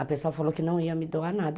A pessoa falou que não ia me doar nada.